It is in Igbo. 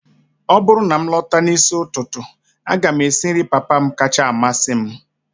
ọ bụrụ na m lọta n'isi ụtụtụ, a ga m esi nri papa m kacha amasị m